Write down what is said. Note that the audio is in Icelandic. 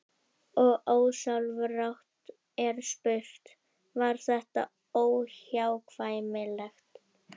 Og ósjálfrátt er spurt: Var þetta óhjákvæmilegt?